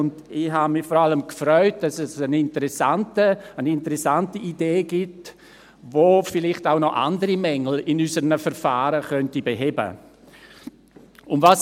Ich habe mich vor allem gefreut, dass es eine interessante Idee gibt, die noch andere Mängel in unseren Verfahren beheben könnte.